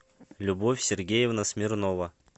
любовь сергеевна смирнова